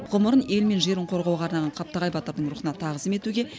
ғұмырын ел мен жерін қорғауға арнаған қаптағай батырдың рухына тағзым етуге